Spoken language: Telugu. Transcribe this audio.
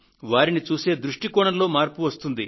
వారిని చూసే దృష్టి కోణంలో మార్పు వస్తుంది